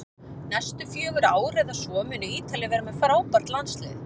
Næstu fjögur ár eða svo munu Ítalir vera með frábært landslið